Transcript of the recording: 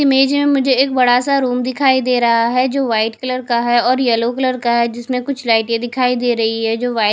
image में मुझे एक बड़ा सा रूम दिखाई दे रहा है जो वाइट कलर का है और येलो कलर का है जिसमें कुछ लाइटें दिखाई दे रही है जो व्हाइट --